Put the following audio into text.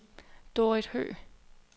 Dorrit Høgh